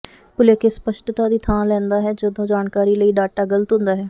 ਭੁਲੇਖੇ ਸਪੱਸ਼ਟਤਾ ਦੀ ਥਾਂ ਲੈਂਦਾ ਹੈ ਜਦੋਂ ਜਾਣਕਾਰੀ ਲਈ ਡਾਟਾ ਗਲਤ ਹੁੰਦਾ ਹੈ